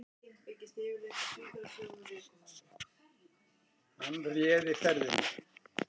Hann réði ferðinni